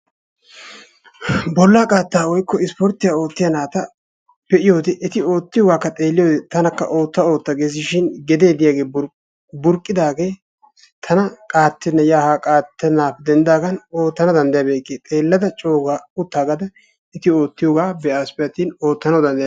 bola qaataa woykko isporttiya ootiya nata be'iyoode eti ootiyoogaakka be'iyoode tana oota ootta ges shin gedee burqidaagee tana qaatenna yaa haa qaaxanawu danddayikke xeelada cooga utaagaas eti ootiyoga be'aysppe atin ootanawu dandayikke.